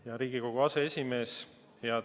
Hea Riigikogu aseesimees!